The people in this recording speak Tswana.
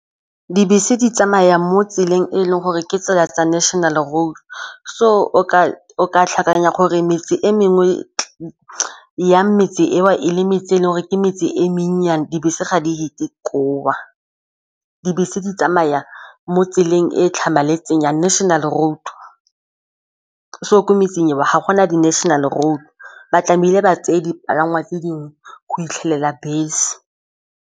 Dibese di tsamaya mo tseleng e leng gore ke tsela tsa national road so o ka tlhakanya gore metsi e mengwe ya metse eo e le mentsi e leng gore ke metse e menyennyane dibese ga di tsamaye koo, dibese di tsamaya mo tseleng e tlhamaletseng ya national road se tlhokometseng wa ga gona di-national road ba tlamehile ba tseye dipalangwa tse dingwe go fitlhelela bese.